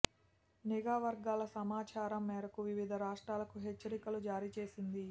నిఘా వర్గాల సమాచారం మేరకు వివిధ రాష్ట్రాలకు హెచ్చరికలు జారీ చేసింది